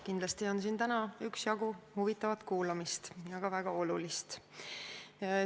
Kindlasti on siin täna üksjagu huvitavat ja väga olulist kuulamist.